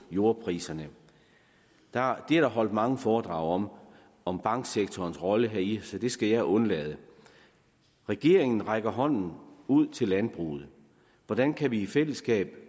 jordpriserne det er der holdt mange foredrag om om banksektorens rolle heri så det skal jeg undlade regeringen rækker hånden ud til landbruget hvordan kan vi i fællesskab